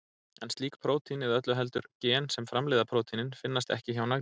En slík prótín, eða öllu heldur gen sem framleiða prótínin, finnast ekki hjá nagdýrum.